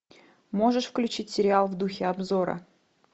можешь включить сериал в духе обзора